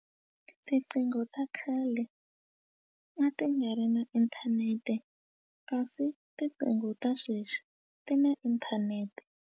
Tiqingho ta khale a ti nga ri na inthanete kasi tiqingho ta sweswi ti na inthanete.